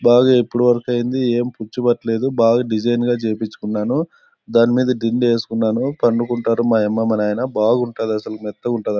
బాగా ఇప్పుడు వరకు అయింది ఏం పుచ్చు పట్టలేదు బాగా డిజైన్ గ చేయిపిచ్చు కున్నాను దానిమీద దిండు వేసుకున్నాను పన్నుకుంటారు మా అమ్మ మా నాయన బాగుంటది అసలు మెత్త గ ఉంటది.